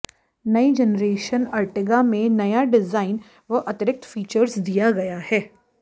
नई generation Ertiga में नया डिजाइन व अतिरिक्त फीचर्स दिया गया है